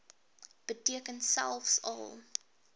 beteken selfs al